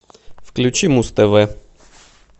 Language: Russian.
включи муз тв